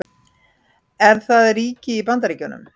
Er það ríki í Bandaríkjunum?